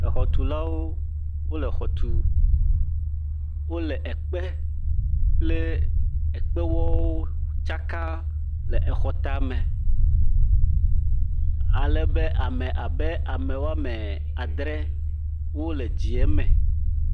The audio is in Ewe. Exɔtulawo le exɔ tɔm, wole ekpe kple ekpewɔwo tsa kam le exɔ ta me, ale be ame abe woame adre wole edzie me.